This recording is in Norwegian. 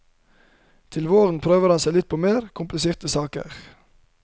Til våren prøver han seg på litt mer kompliserte saker.